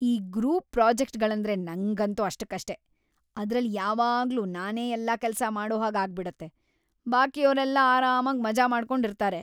ಈ ಗ್ರೂಪ್‌ ಪ್ರಾಜೆಕ್ಟ್‌ಗಳಂದ್ರೆ ನಂಗಂತೂ ಅಷ್ಟಕ್ಕಷ್ಟೇ; ಅದ್ರಲ್ಲಿ ಯಾವಾಗ್ಲೂ ನಾನೇ ಎಲ್ಲಾ ಕೆಲ್ಸ ಮಾಡೋಹಾಗ್‌ ಆಗ್ಬಿಡತ್ತೆ, ಬಾಕಿಯೋರೆಲ್ಲ ಆರಾಮಾಗ್ ಮಜಾ ಮಾಡ್ಕೊಂಡಿರ್ತಾರೆ.